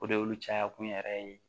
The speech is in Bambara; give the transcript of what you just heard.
O de y'olu caya kun yɛrɛ ye